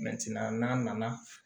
n'a nana